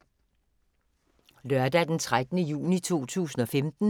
Lørdag d. 13. juni 2015